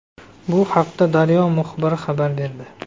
Bu haqda Daryo muxbiri xabar berdi.